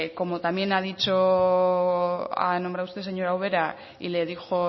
como también ha nombrado usted señora ubera y le dijo